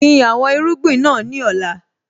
Gbin àwọn irúgbìn náà ní ọ̀la.